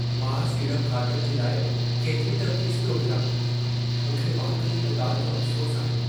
मां सीड़प खातनि जे लाइ केतिरी त फ़ीस पियो भरां! मूंखे वाक़ई इन ॻाल्हि जो अफ़सोसु आहे।